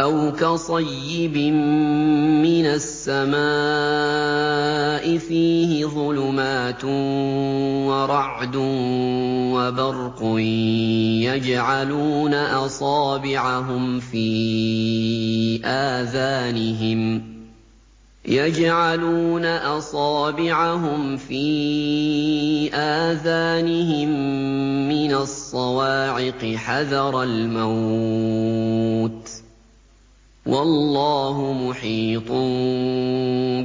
أَوْ كَصَيِّبٍ مِّنَ السَّمَاءِ فِيهِ ظُلُمَاتٌ وَرَعْدٌ وَبَرْقٌ يَجْعَلُونَ أَصَابِعَهُمْ فِي آذَانِهِم مِّنَ الصَّوَاعِقِ حَذَرَ الْمَوْتِ ۚ وَاللَّهُ مُحِيطٌ